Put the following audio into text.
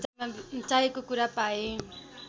चाहेको कुरा पाए